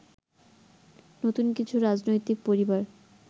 নতুন কিছু রাজনৈতিক পরিবার